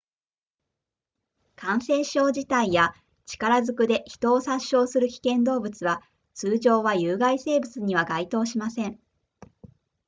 感染症自体や力ずくで人を殺傷する危険動物は通常は有害生物には該当しません